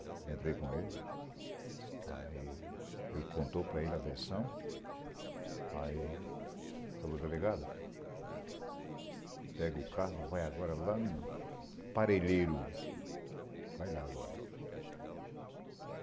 Eu entrei com ele, aí ele contou para ele a versão, aí falou, delegado, pega o carro, vai agora lá no Parelheiro, vai lá agora.